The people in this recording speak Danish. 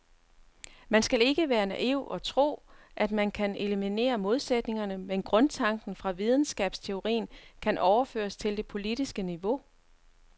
Man skal ikke være naiv og tro, at man kan eliminere modsætningerne, men grundtanken fra videnskabsteorien kan overføres til det politiske niveau.